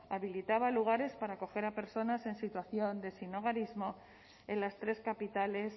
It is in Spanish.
habilitaba lugares para acoger a personas en situación de sinhogarismo en las tres capitales